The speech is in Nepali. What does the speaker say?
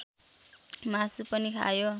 मासु पनि खायो